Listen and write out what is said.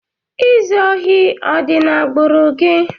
ịzụ ohi ọ dị na agbùru gị?